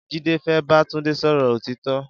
Jide fé bà Tunde sọrọ ótitọ̀